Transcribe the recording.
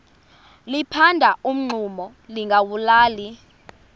liphanda umngxuma lingawulali